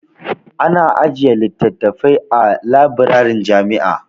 Ana ajiye littattafai a labirarin jami'a.